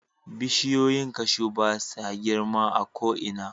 Bishiyoyin cashew ba sa girma a ko'ina.